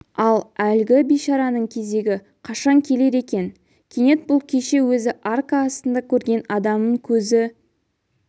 ал әлгі бейшараның кезегі қашан келер екен кенет бұл кеше өзі арка астында көрген адамын көзі